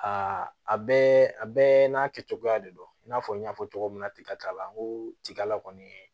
Aa a bɛɛ a bɛɛ n'a kɛcogoya de don i n'a fɔ n y'a fɔ cogo min na tiga n ko tigala kɔni